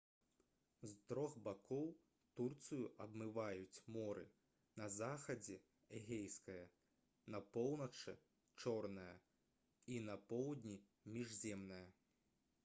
з трох бакоў турцыю абмываюць моры на захадзе эгейскае на поўначы чорнае і на поўдні міжземнае